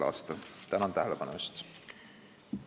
a. Tänan tähelepanu eest!